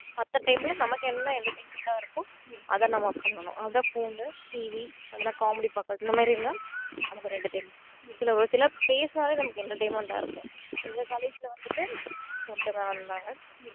மத்த time ல நமக்கு என்ன entertainment ஆ இருக்கோ அதை நம்ம பண்ணணும் அதபோல TV அப்புறம் காமெடி பாக்குறது இந்த மாதிரியெல்லாம் நமக்கு ஒரு entertainment சில நேரத்துல பேசினாலே நமக்கு ஒரு entertainment ஆ இருக்கும் இந்த தலைப்புல வந்துட்டு